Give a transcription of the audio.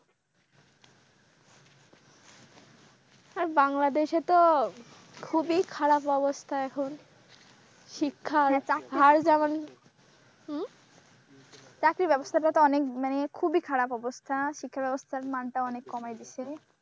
আর বাংলাদেশে তো খুবই খারাপ অবস্থা এখন শিক্ষার হার যেমন উম চাকরির ব্যবস্থাটা তো মানে খুবই খারাপ অবস্থা শিক্ষা ব্যবস্থার মান টা অনেক কময়ে দিয়েছে।